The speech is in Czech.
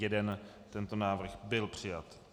Tento návrh byl přijat.